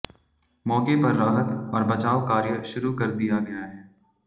मौके पर राहत और बचाव कार्य शुरू कर दिया गया है